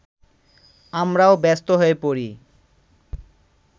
আমরাও ব্যস্ত হয়ে পড়ি